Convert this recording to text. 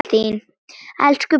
Elsku Birna mín.